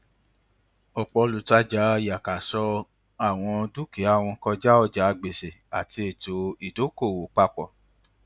ọpọ olùtajà yàkàṣọọ àwọn dukia wọn kọjá ọjà gbèsè àti ètò ìdokoowó papọ